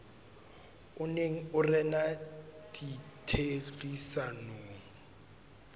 o neng o rena ditherisanong